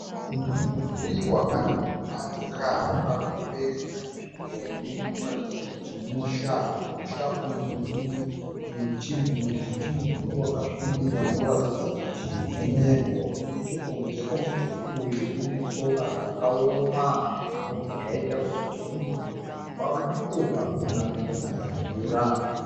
Mudhuri wakanaka wakakomberedza nzvimbo unoratidza kuti musha. Mumusha umu mune mumwe muti wakasvibira unoratidza kuti mumengo. Nechekunze kwemudhuri uyu kune sora rakaoma zvinobva zvaita kuti tifungidzire kuti kwave nenguva kusina kumbonaya mvura.